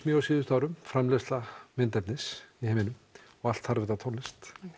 mjög á síðustu árum framleiðsla myndefnis í heiminum og allt þarf það tónlist